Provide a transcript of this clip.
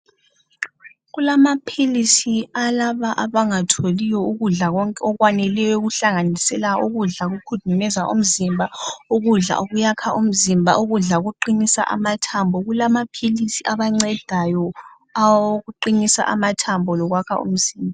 Kulamaphilisi alabo abangatholiyo ukudla okwaneleyo okuhlanganisela ukudla okukhudumeza umzimba, ukudla okuyakha umzimba, ukudla okuqinisa amathambo kulamaphilisi awabancedayo awokuqinisa amathambo lokwakha umzimba.